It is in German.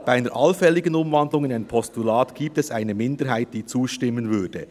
Bei einer allfälligen Umwandlung in ein Postulat gibt es eine Minderheit, die zustimmen würde.